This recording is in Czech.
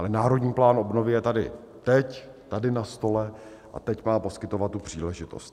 Ale Národní plán obnovy je tady teď tady na stole a teď má poskytovat tu příležitost.